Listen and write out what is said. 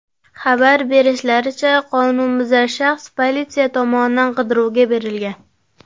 Xabar berishlaricha, qonunbuzar shaxs politsiya tomonidan qidiruvga berilgan.